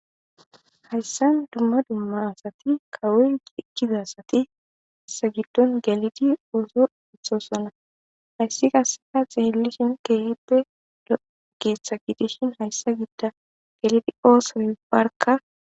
hayssan dumma dummasati kawoy eqkizasati hassa giddon galidi ooso uthosona hayssi kasseda xeelishon keehite dogeeththa gidishin hayssa gidda galidi ooso inbarka